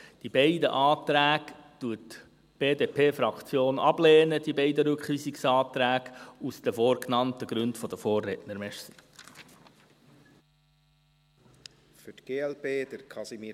Die BDP-Fraktion lehnt die beiden Rückweisungsanträge aus den vorgenannten Gründen der Vorredner ab.